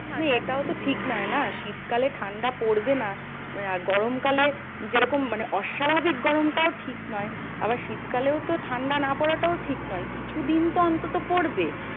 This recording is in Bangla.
এইটাও তো ঠিক নয় না? শীত কালে ঠান্ডা পড়বে না গরমকালে যেরকম মানে অস্বাভাবিক গরম টাও ঠিক নয়। আবার শীত কালেও তো ঠান্ডা না পড়াটাও তো ঠিক নয় কিছু দিন তো অন্ততো পড়বে।